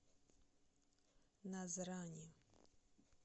назрани